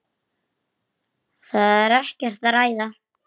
Það er ekkert að ræða.